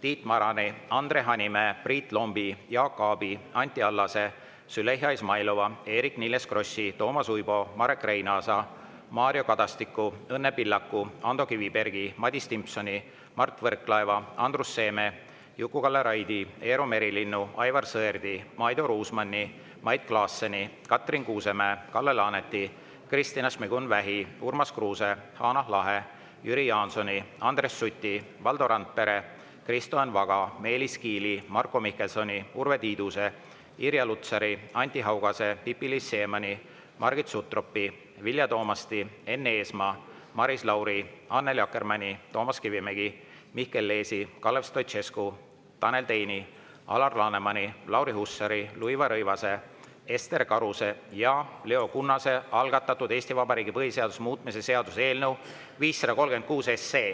Tiit Marani, Andre Hanimäe, Priit Lombi, Jaak Aabi, Anti Allase, Züleyxa Izmailova, Eerik-Niiles Krossi, Toomas Uibo, Marek Reinaasa, Mario Kadastiku, Õnne Pillaku, Ando Kivibergi, Madis Timpsoni, Mart Võrklaeva, Andrus Seeme, Juku-Kalle Raidi, Eero Merilinnu, Aivar Sõerdi, Maido Ruusmanni, Mait Klaasseni, Katrin Kuusemäe, Kalle Laaneti, Kristina Šmigun-Vähi, Urmas Kruuse, Hanah Lahe, Jüri Jaansoni, Andres Suti, Valdo Randpere, Kristo Enn Vaga, Meelis Kiili, Marko Mihkelsoni, Urve Tiiduse, Irja Lutsari, Anti Haugase, Pipi-Liis Siemanni, Margit Sutropi, Vilja Toomasti, Enn Eesmaa, Maris Lauri, Annely Akkermanni, Toomas Kivimägi, Mihkel Leesi, Kalev Stoicescu, Tanel Teini, Alar Lanemani, Lauri Hussari, Luisa Rõivase, Ester Karuse ja Leo Kunnase algatatud Eesti Vabariigi põhiseaduse muutmise seaduse eelnõu 536.